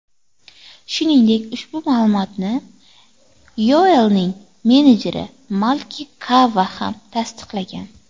Shuningdek, ushbu ma’lumotni Yoelning menejeri Malki Kava ham tasdiqlagan.